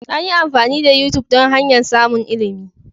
An yi amfani da YouTube don hanyar samun ilimi.